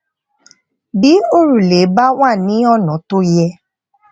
bí òrùlé bá wà ní ònà tó yẹ